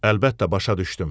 Əlbəttə başa düşdüm.